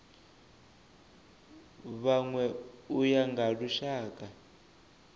vhanwe u ya nga lushaka